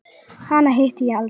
Hana hitti ég aldrei.